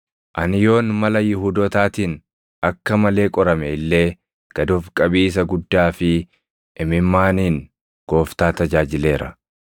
Ani yoon mala Yihuudootaatiin akka malee qorame illee gad of qabiisa guddaa fi imimmaaniin Gooftaa tajaajileera.